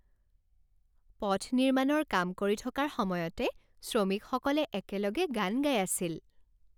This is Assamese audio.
পথ নিৰ্মাণৰ কাম কৰি থকাৰ সময়তে শ্ৰমিকসকলে একেলগে গান গাই আছিল।